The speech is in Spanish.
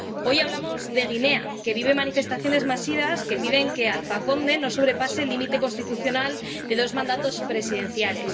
Hoy hablamos de Guinea —que vive manifestaciones masivas que piden que no sobrepase el límite constitucional de dos mandatos presidenciales—.